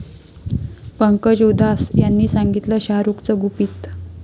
पंकज उधास यांनी सांगितलं शाहरुखचं गुपित